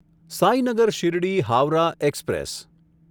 Sainagar Shirdi Howrah express